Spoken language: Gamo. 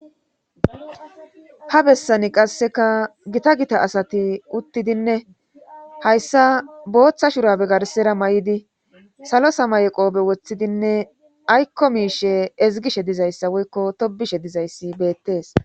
ha bessani qasseka gita gita asati uttidinne hayssa booththa shurabe garsera may7idi salo samay qoobe woththidinne aykko miishe ezigishe dizayssa woykko tobishe dizayssi beettees